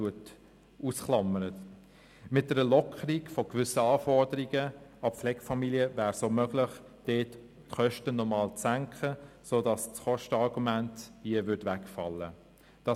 Mit der Lockerung gewisser Anforderungen an Pflegefamilien wäre es auch möglich, die Kosten dort noch einmal zu senken, sodass das Kostenargument wegfallen würde.